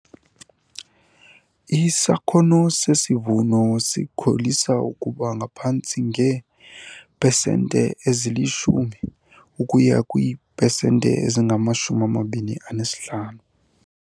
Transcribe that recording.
Isakhono sesivuno sikholisa ukuba ngaphantsi nge10 ukuya kwii-pesenti ezingama 25.